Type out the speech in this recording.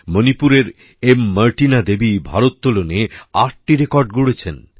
মণিপুরের এম মার্টিনা দেবী ভারোত্তোলনে ৮টি রেকর্ড গড়েছেন